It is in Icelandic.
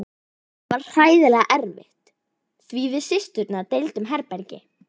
Það var hræðilega erfitt því við systurnar deildum herbergi.